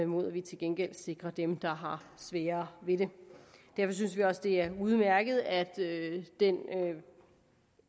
mod at vi til gengæld sikrer dem der har sværere ved det derfor synes vi også det er udmærket at den